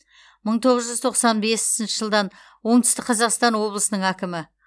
мың тоғыз жүз тоқсан бесінші жылдан оңтүстік қазақстан облысының әкімі